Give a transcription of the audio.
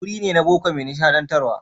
Wuri ne na baƙo mai nishadantarwa.